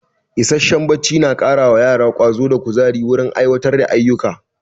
Isasshen barci yana kara wa yara ƙwazo da ƙuzayi wurin aiwatar da ayuka